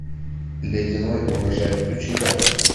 ледяной урожай включи ка